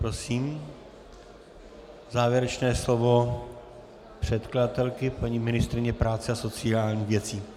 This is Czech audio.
Prosím, závěrečné slovo předkladatelky, paní ministryně práce a sociálních věcí.